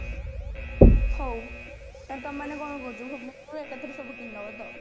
ହଉ ତାହାଲେ ତମେମାନେ କଣ କହୁଛ ଭୁବନେଶ୍ଵରରେ ଏକାଥରେ ସବୁ କିଣିଦବା ତ